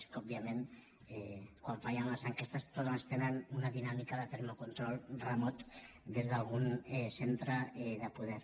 és que òbviament quan fallen les enquestes totes tenen una dinàmica de termocontrol remot des d’algun centre de poder